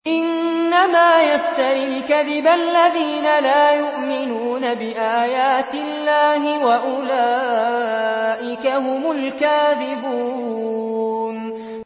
إِنَّمَا يَفْتَرِي الْكَذِبَ الَّذِينَ لَا يُؤْمِنُونَ بِآيَاتِ اللَّهِ ۖ وَأُولَٰئِكَ هُمُ الْكَاذِبُونَ